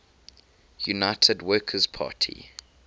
united workers party